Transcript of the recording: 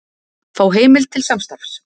Fá heimild til samstarfs